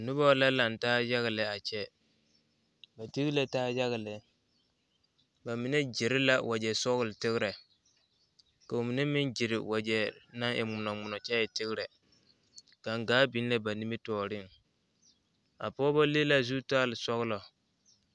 Noba la laŋ taa yaga lɛ a kyɛ ba tigi la taa yaga lɛ ba mine gyere la wagyɛsɔgletegrɛ ka ba mine meŋ gyere wagyɛ naŋ e ŋmonɔ ŋmonɔ kyɛ e tegrɛ gangaa biŋ la ba nimitɔɔreŋ a pɔgeba le la zutalsɔglɔ.